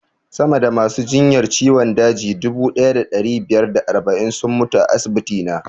Sama da masu jinyar ciwon daji dubu ɗaya da ɗari biyar da arba'in sun mutu a asibiti na